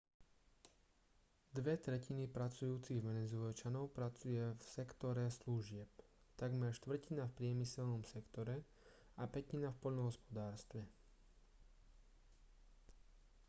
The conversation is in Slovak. dve tretiny pracujúcich venezuelčanov pracuje v sektore služieb takmer štvrtina v priemyselnom sektore a pätina v poľnohospodárstve